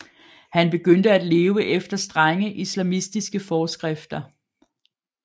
Han begyndte at leve efter strenge islamistiske forskrifter